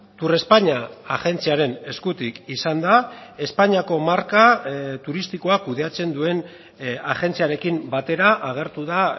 turespaña agentziaren eskutik izan da espainiako marka turistikoa kudeatzen duen agentziarekin batera agertu da